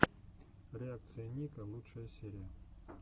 реакция ника лучшая серия